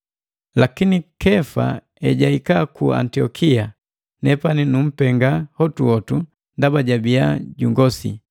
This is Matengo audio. Lakini Kefa ejahika ku Antiokia, nepani nunpenga hotuhotu ndaba jabiya jungosi.